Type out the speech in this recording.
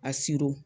A